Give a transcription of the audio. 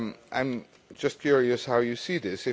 I'm just curious how you see this.